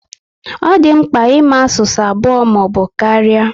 Ọ di mkpa ịma asụsụ abụọ ma ọbụ karịa